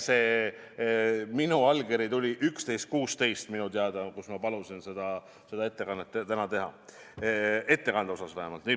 See minu allkiri, millega ma palusin seda ettekannet täna teha, tuli minu teada kell 11.16 – ettekande osas vähemalt.